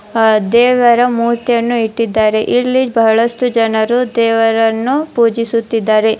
ದೇವರ ಮೂರ್ತಿಯನ್ನು ಇಟ್ಟಿದ್ದಾರೆ ಇಲ್ಲಿ ಬಹಳಷ್ಟು ಜನರು ದೇವರನ್ನು ಪೂಜಿಸುತ್ತಿದ್ದಾರೆ.